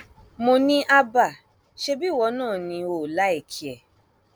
mo ní hábà ṣebí ìwọ náà ni o ò láìkí ẹ